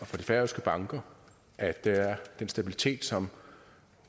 færøske banker at der er den stabilitet som